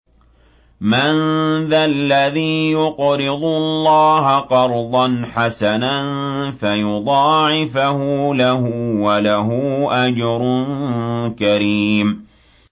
مَّن ذَا الَّذِي يُقْرِضُ اللَّهَ قَرْضًا حَسَنًا فَيُضَاعِفَهُ لَهُ وَلَهُ أَجْرٌ كَرِيمٌ